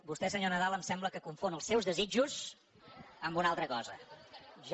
vostè senyor nadal em sembla que confon els seus desitjos amb una altra cosa